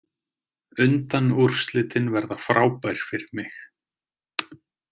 Undanúrslitin verða frábær fyrir mig.